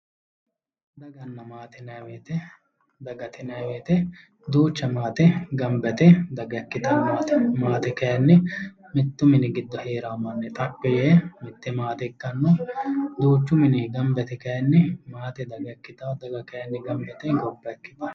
Daganna maate yinnanni woyte, dagate yinnani woyte duucha maate gamba yte daga ikkittano ,maate kayinni mitu mini giddo heerano manni xaphi yee mite maate ikkano duuchu mini gamba yte kayinni maate daga ikkittano ,daga kayinni gamba yte gobba ikkittano